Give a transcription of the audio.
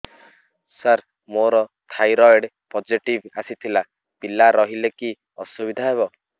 ସାର ମୋର thyroid positive ଆସିଥିଲା ପିଲା ରହିଲେ କି ଅସୁବିଧା ହେବ